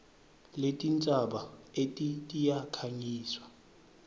letintsaba eti tiyakhangiswa